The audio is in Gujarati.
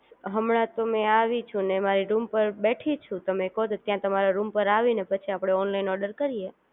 હમણાં તો મેં આવી છું અને મારી રૂમ પર બેઠી છું તમે કહો તો ત્યાં તમારા રૂમ પર આવીને પછી આપણે ઓનલાઇન ઓર્ડર કરીએ